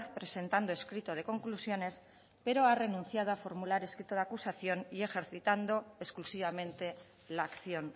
presentando escrito de conclusiones pero ha renunciado a formular escrito de acusación y ejercitando exclusivamente la acción